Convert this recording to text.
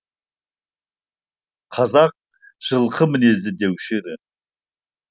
қазақ жылқы мінезді деуші еді